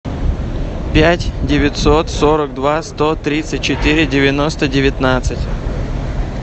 пять девятьсот сорок два сто тридцать четыре девяносто девятнадцать